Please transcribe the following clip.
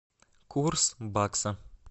курс бакса